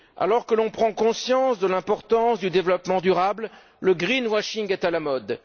Alors que l'on prend conscience de l'importance du développement durable, le greenwashing est à la mode.